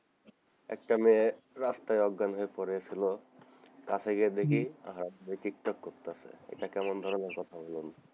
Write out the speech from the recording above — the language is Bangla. একটা মেয়ে রাস্তায় অজ্ঞান হয়ে পরে ছিল কাছে গিয়ে দেখি হালা টিকটক করতেছে এটা কেমন ধরণের কথা বলুন,